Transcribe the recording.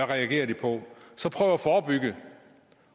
reagerer på så prøve at forebygge